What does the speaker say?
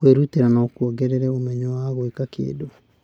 Kwĩrutĩra no kuongerere ũmenyo wa gwĩka kĩndũ.